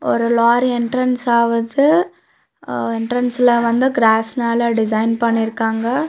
ஒரு lorry entrance ஆவுது ஆ என்ட்ரன்ஸ்ல வந்து கிராஸ் மேல டிசைன் பண்ணிருக்காங்க.